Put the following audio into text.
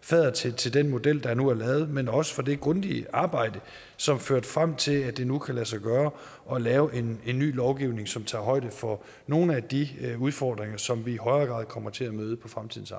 faddere til til den model der nu er lavet men også for det grundige arbejde som førte frem til at det nu kan lade sig gøre at lave en ny lovgivning som tager højde for nogle af de udfordringer som vi i højere grad kommer til at møde på fremtidens